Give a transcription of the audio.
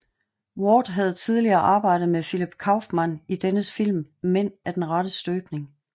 Ward havde tidligere arbejdet med Philip Kaufman i dennes film Mænd af den rette støbning